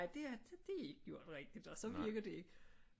Nej det er ikke gjort rigtigt og så virker det ikke